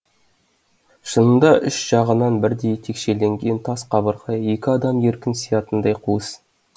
шынында үш жағынан бірдей текшеленген тас қабырға екі адам еркін сиятындай қуыс